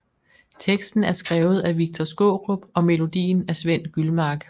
Teksten er skrevet af Victor Skaarup og melodien af Svend Gyldmark